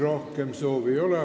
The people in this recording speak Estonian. Rohkem kõnesoove ei ole.